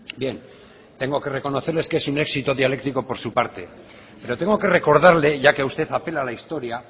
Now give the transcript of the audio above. bien tengo que reconocerles que es un éxito dialéctico por su parte pero tengo que recordarle ya que usted apela a la historia